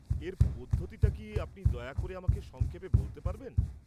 এর পদ্ধতিটা কি, আপনি কি দয়া করে আমাকে সংক্ষেপে বলতে পারবেন?